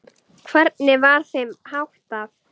Hvernig var þeim háttað?